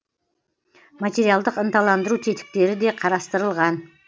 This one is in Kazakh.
материалдық ынталандыру тетіктері де қарастырылған